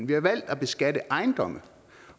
vi har valgt at beskatte ejendomme